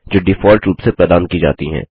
जो डिफॉल्ट रूप से प्रदान की जाती हैं